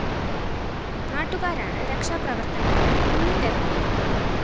നാട്ടുകാരാണ് രക്ഷാ പ്രവര്‍ത്തനത്തിന് മുന്നിട്ടിറങ്ങിയത്